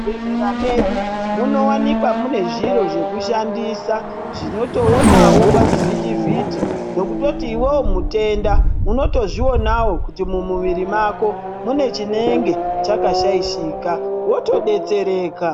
Mu zvibhehlera medu muno wanikwa mune zviro zveku shandisa zvinoto onawo pa chi vhiti vhiti nekutoti iwewe mutenda unoto zvionawo kuti mu muviri mako mune chinenge chaka shaishika woto detsereka.